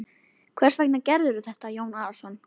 Hvers vegna gerirðu þetta Jón Arason?